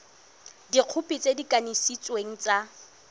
dikhopi tse di kanisitsweng tsa